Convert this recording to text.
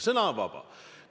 Sõna on vaba.